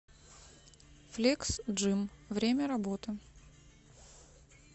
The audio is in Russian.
флекс джим время работы